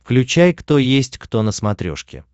включай кто есть кто на смотрешке